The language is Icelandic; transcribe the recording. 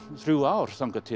þrjú ár þangað til